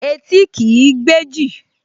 Etí kìí gbẹ́jì